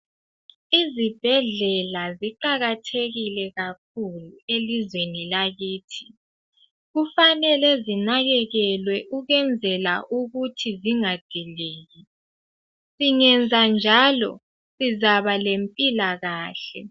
Izibhedlela ziqakathekile kakhulu elizweni lakithi kufanele zinakekelwe ukwenzela ukuthi zingadiliki. Singenza njalo sizaba lempilakahle.